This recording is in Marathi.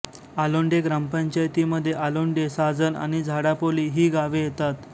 आलोंडे ग्रामपंचायतीमध्ये आलोंडे साजण आणि झाडापोली ही गावे येतात